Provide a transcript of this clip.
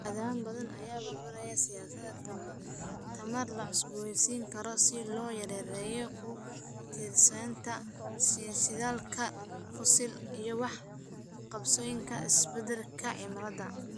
Wadamo badan ayaa abuuraya siyaasado tamar la cusboonaysiin karo si loo yareeyo ku tiirsanaanta shidaalka fosil iyo wax ka qabashada isbedelka cimilada.